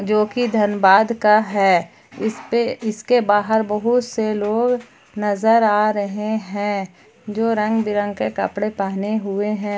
जो कि धनबाद का है इसपे इसके बाहर बहुत से लोग नजर आ रहे हैं जो रंगबिरंग के कपड़े पहने हुए हैं।